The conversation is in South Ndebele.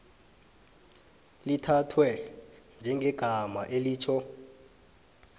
lithathwe njengegama elitjho